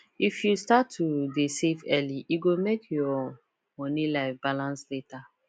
if you start to dey save early e go make your money life balance later